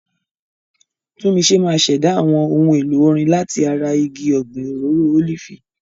Tunmise máa ṣẹ̀dá àwọn ohun èlò orin láti ara igi ọ̀gbìn òróró ólífì.